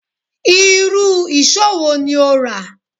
Irú ìṣó wo ni o rà